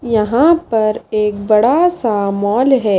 यहां पर एक बड़ा सा मॉल है।